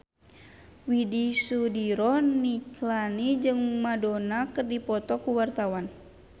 Widy Soediro Nichlany jeung Madonna keur dipoto ku wartawan